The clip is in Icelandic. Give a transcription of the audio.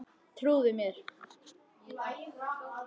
Trúðu mér.